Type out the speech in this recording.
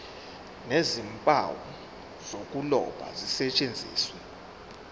nezimpawu zokuloba zisetshenziswe